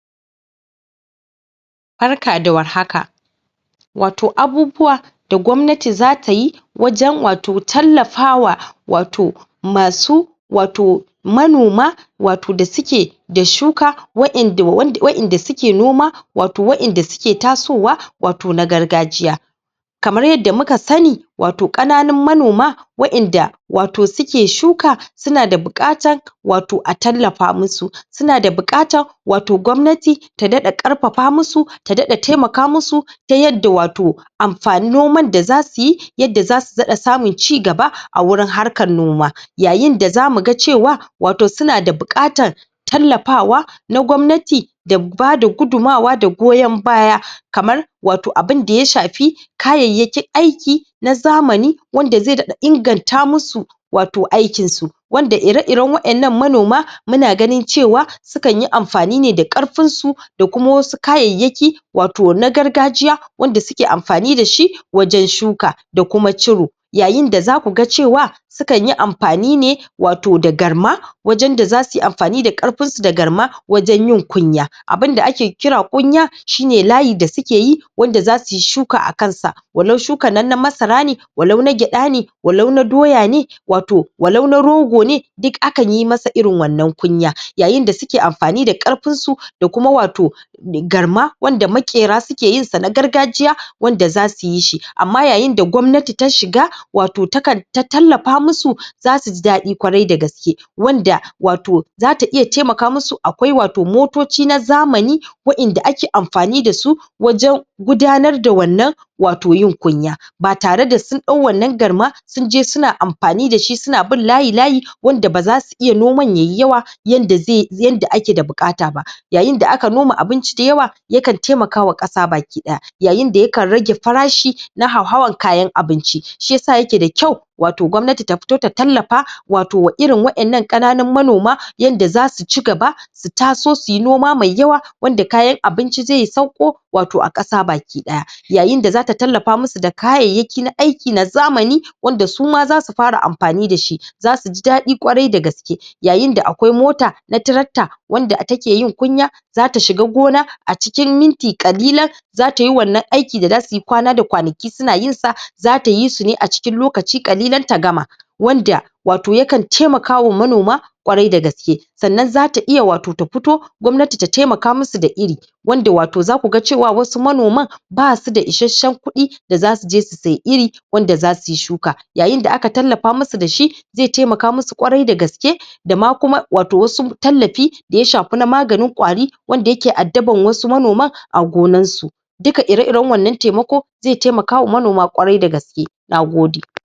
Barka da warhaka wato abubuwa da gwamnati zatayi wajen wato tallafa wa wato masu wato manoma wato da suke da shuka, waʼinda suke noma, wato waʼinda suke tasowa, wato na gargajiya kamar yadda muka sani wato ƙananun manoma waʼinda wato suke shuka suna da buƙatan wato a tallafa musu, suna da buƙatan wato gwamnati ta daɗa ƙarpapa musu, ta daɗa taimaka musu, ta yadda wato noman da zasuyi yadda zasu daɗa samun cigaba, a wurin harkan noma, yayin da zamu ga cewa wato suna da buƙatan tallafawa na gwamnati da bada gudunmawa da goyon baya kamar wato abinda ya shafi kayayyakin aiki na zamani wanda zai daɗa inganta musu wato aikinsu, wanda ire iren waʼennan manoma, muna ganin cewa su kan yi amfani ne da ƙarpinsu da kuma wasu kayayyaki wato na gargajiya wanda suke amfani dashi wajen shuka da kuma ciro yayin da za ku ga cewa su kanyi amfani ne wato da garma, wajen da zasuyi amfani da ƙarpinsu da garma, wajen yin kunya, abin da ake kira kunya shine layi da sukeyi wanda zasuyi shuka akan sa, walau shukan nan na masara ne walau na gyaɗa ne walau na doya ne, wato walau na rogo ne, duk akan yi masa irin wannan kunya, yayin da suke amfani da ƙarpinsu da kuma wato garma wanda maƙera suke yin sa na gargajiya, wanda zasu yi shi, amma yayin da gwamnati ta shiga wato ta tallapa musu, zasuji daɗi ƙwarai dagaske, wanda wato zata iya taimaka musu akwai wato motoci na zamani, waʼinda ake amfani dasu wajen gudanar da wannan wato yin kunya ba tare da sun dau wannan garma sunje suna amfani dashi suna bin layi layi wanda bazasu iya noman yayi yawa yanda ake da buƙata ba yayin da aka noma abinci dayawa ya kan taimaka wa ƙasa baki ɗaya yayin da ya kan rage farashi na hauhawan kayan abinci shiyasa yake da kyau wato gwamnati ta fito ta tallafa wato wa irin waʼennan ƙananun manoma yanda zasu cigaba su taso su yi noma mai yawa wanda kayan abinci zai sauko wato a ƙasa baki ɗaya yayin da zata tallapa musu da kayayyaki na aiki na zamani wanda su ma zasu fara amfani dashi zasu ji daɗi ƙwarai dagaske yayin da akwai mota na tirakta wanda take yin kunya zata shiga gona a cikin minti ƙalilan zata yi wannan aiki da zasuyi kwana da kwanaki suna yin sa zata yi su ne a cikin lokaci ƙalilan ta gama wanda wato ya kan taimaka wa manoma ƙwarai dagaske sannan zata iya wato ta puto gwamnati da taimaka musu da iri wanda wato zaku ga cewa wasu manoman basu da ishasshen kuɗi da zasu je su sayi iri wanda zasu yi shuka yayin da aka tallapa musu dashi zai taimaka musu ƙwarai dagaske da ma kuma wato wasu tallapi da ya shapi na maganin ƙwari wanda yake addaban wasu manoman a gonansu duka ire iren wannan taimako zai taimaka wa manona ƙwarai dagaske nagode